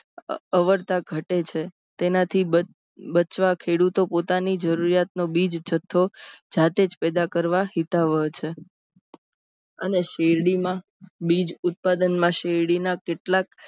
અવરતા ઘટે છે. તેનાથી બચવા ખેડૂતો પોતાની જરૂરિયાતનું બીજ જથ્થો જાતેજ પેદા કરવો હિતાવહ છે. અને શેરડીમાં બીજ ઉત્પાદન માં શેરડીના કેટલાક અને